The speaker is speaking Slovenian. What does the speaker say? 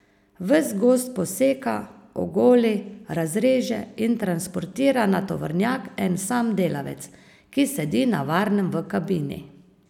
Ves gozd poseka, ogoli, razreže in transportira na tovornjak en sam delavec, ki sedi na varnem v kabini.